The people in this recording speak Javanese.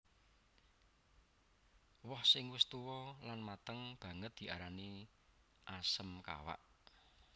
Woh sing wis tuwa lan mateng banget diarani asem kawak